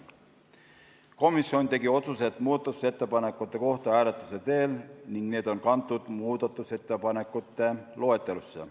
Komisjon tegi otsused muudatusettepanekute kohta hääletuse teel ning need on kantud muudatusettepanekute loetelusse.